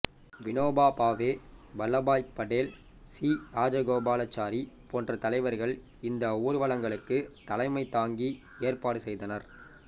Vinoba Bhave Vallabhbhai Patel C Rajagopalachari போன்ற தலைவர்கள் இந்த ஊர்வலங்களுக்கு தலைமை தாங்கி ஏற்பாடு செய்தனர்